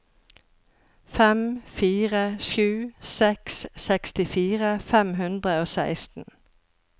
fem fire sju seks sekstifire fem hundre og seksten